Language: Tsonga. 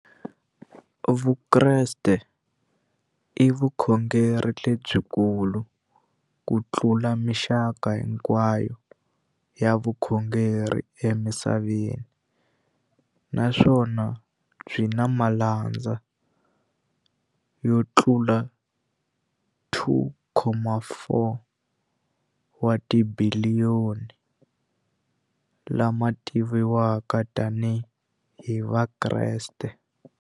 Vukreste i vukhongeri lebyi kulu kutlula mixaka hinkwayo ya vukhongeri emisaveni, naswona byi na malandza yo tlula 2.4 wa tibiliyoni, la ma tiviwaka tani hi Vakreste.